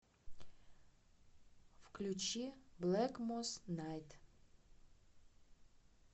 включи блэкмос найт